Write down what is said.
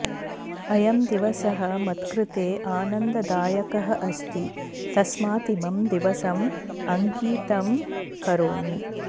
अयं दिवसः मत्कृते आनन्ददायकः अस्ति तस्मात् इमं दिवसम् अङ्कितं करोमि